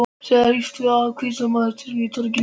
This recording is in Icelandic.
Hins vegar hrífst hann af hvítmáluðum turninum á torginu.